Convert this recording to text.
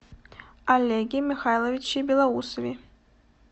олеге михайловиче белоусове